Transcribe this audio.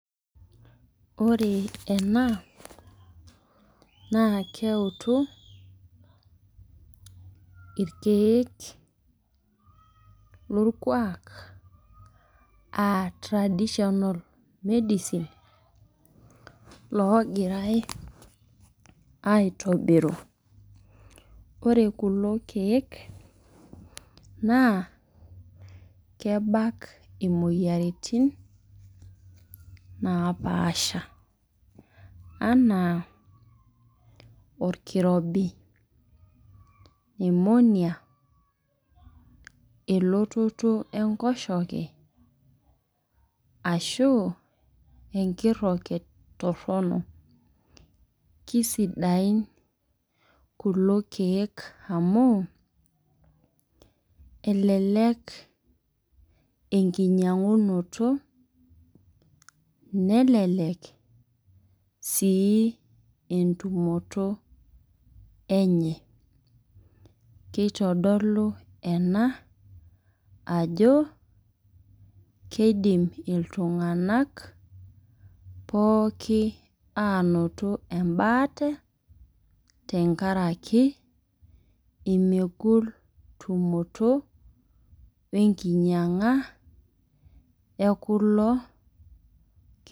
Ore ena naa keutu irkeek, lorkuaak aa traditional medicine oogirae aitobiru. ore kulo keek naa kebak imoyiaritin napaasha. anaa olkirobi, pneumonia ,elototo enkoshoke. ashu enkiroket Torono. kisidain kulo keek amu, elelek enkijiangunoto. nelelek sii entumoto enye. keitodolu ena ajo, keidim iltunganak pookin aanoto ebaata tenkaraki nemegol tumoto we nkinyianga ekulo.